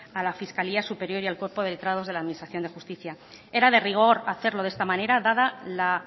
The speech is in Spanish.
a la fiscalía superior y al cuerpo de letrados de la administración de justicia era de rigor hacerlo de esta manera dada la